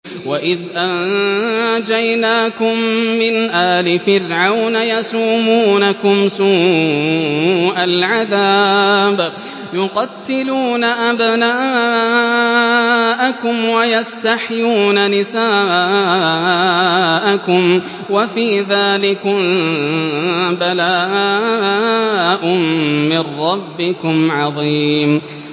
وَإِذْ أَنجَيْنَاكُم مِّنْ آلِ فِرْعَوْنَ يَسُومُونَكُمْ سُوءَ الْعَذَابِ ۖ يُقَتِّلُونَ أَبْنَاءَكُمْ وَيَسْتَحْيُونَ نِسَاءَكُمْ ۚ وَفِي ذَٰلِكُم بَلَاءٌ مِّن رَّبِّكُمْ عَظِيمٌ